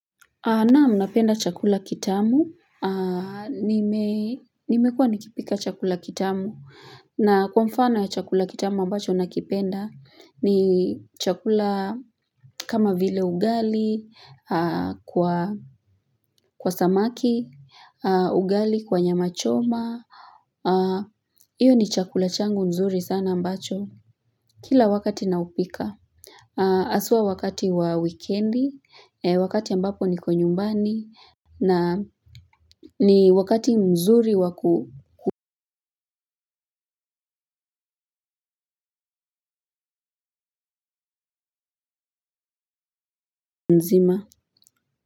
Naam, napenda chakula kitamu, nimekuwa nikipika chakula kitamu, na kwa mfano ya chakula kitamu ambacho nakipenda ni chakula. Kama vile ugali, kwa samaki, ugali kwa nyama choma, hiyo ni chakula changu nzuri sana ambacho, kila wakati naupika. Haswa wakati wa wikendi, wakati ambapo niko nyumbani, na ni wakati mzuri nzima.